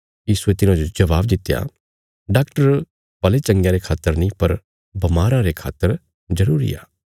यीशुये तिन्हाजो जवाब दित्या डाक्टर भले चंगयां रे खातर नीं पर बमाराँ रे खातर जरूरी आ